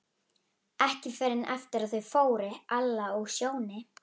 Ekki fyrr en eftir að þau fóru, Alla og Sjóni.